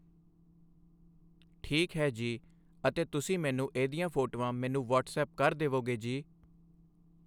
ਠੀਕ ਹੈ ਜੀ ਅਤੇ ਤੁਸੀਂ ਮੈਨੂੰ ਇਹਦੀਆਂ ਫੋਟੋਆਂ ਮੈਨੂੰ ਵੱਅਟਸਐਪ ਕਰ ਦੇਵੋਗੇ ਜੀ